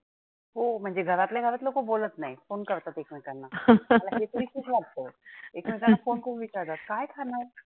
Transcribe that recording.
हो म्हणजे घरातल्या घरात बोलत नाहीत. phone करतात एकमेकांना मला विपरितच वाटतं एकमेकांना phone करून विचारतात काय खाणार?